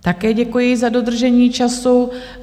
Také děkuji, za dodržení času.